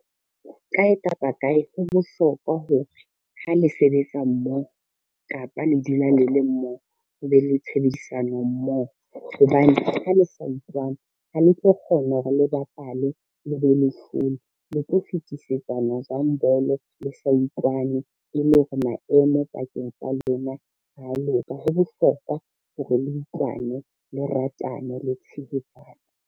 Kae kapa kae ho bohlokwa hore, ha le sebetsa mmoho kapa le dula le le mmohoo, ho be le tshebedisano mmoho, hobane ha le sa utlwane ha le tlo kgona hore le bapale le be le lehlole. Le tlo fetisetsana jwang bolo le sa utlwane e le hore maemo pakeng tsa lona ha a loka, ho bohlokwa hore le utlwane, le ratane, le tshehetsane.